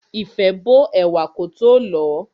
Ìfẹ́ bó ẹ̀wà kótó lọ̀ọ́.